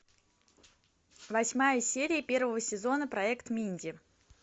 восьмая серия первого сезона проект минди